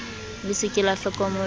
le se ke la hlokomoloha